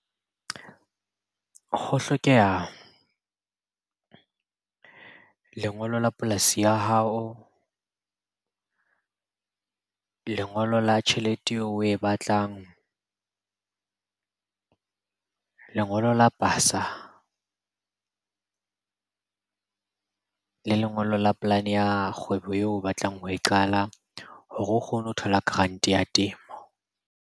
Ho hlokeha lengolo la polasi ya hao, lengolo la tjhelete eo oe batlang, lengolo la pasa, le lengolo la polane ya kgwebo eo o batlang ho e qala hore o kgone ho thola grant-e ya temo.